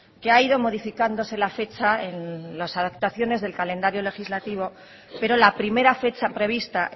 que ha ido modificándose la fecha en las adaptaciones del calendario legislativo pero la primera fecha prevista